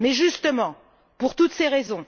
Mais justement, pour toutes ces raisons,